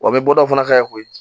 Wa u bɛ bɔ dɔw fana ka ko ye